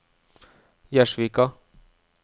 Gjerdsvika